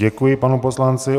Děkuji panu poslanci.